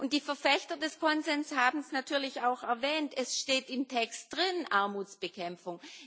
Die Verfechter des Konsenses haben es natürlich auch erwähnt, es steht im Text drin Armutsbekämpfung.